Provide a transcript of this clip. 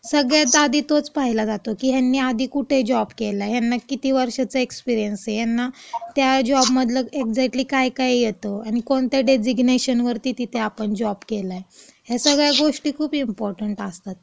सगळ्यात आधी तोच पाहिला जातो, की आधी ह्यांनी आधी कुठं जॉब केलाय, यांना किती वर्षाचा एक्सपिरिअन्स आहे, यांना त्या जॉबमधलं एक्जॅक्टली काय काय येतं, आणि कोणत्या डेजिगनेशनवरती तिथे आपण जॉब केलाय, या सगळ्या गोष्टी खूप इम्पॉर्टंट असतात.